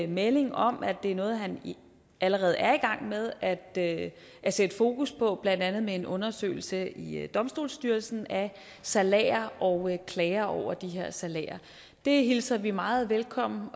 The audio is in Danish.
melding om at det er noget han allerede er i gang med at at sætte fokus på blandt andet med en undersøgelse i domstolsstyrelsen af salærer og klager over de her salærer det hilser vi meget velkommen